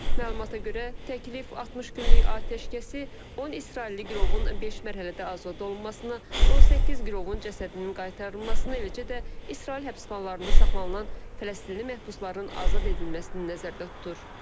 Məlumata görə, təklif 60 günlük atəşkəsi, 10 İsrailli girovun beş mərhələdə azad olunmasını, 18 girovun cəsədinin qaytarılmasını, eləcə də İsrail həbsxanalarında saxlanılan Fələstinli məhbusların azad edilməsini nəzərdə tutur.